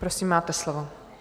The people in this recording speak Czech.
Prosím, máte slovo.